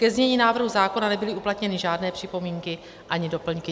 Ke znění návrhu zákona nebyly uplatněny žádné připomínky ani doplňky.